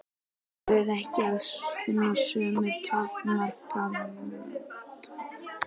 Þar er ekki að finna sömu takmarkanir á sönnunarfærslu og í einkamálum.